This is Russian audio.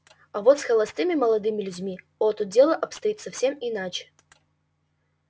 а вот с холостыми молодыми людьми о тут дело обстоит совсем иначе